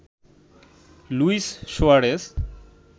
Luis Suarez